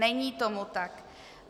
Není tomu tak.